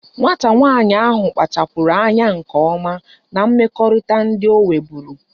Nwata nwanyi ahu kpachapuru anya nke oma na mmekọrịta ndi o nweburu